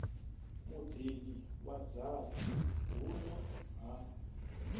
muḓini wa dzaṱa huno ha